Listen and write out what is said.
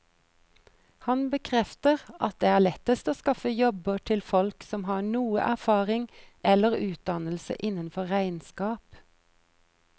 Han bekrefter at det er lettest å skaffe jobber til folk som har noe erfaring eller utdannelse innenfor regnskap.